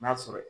N'a sɔrɔ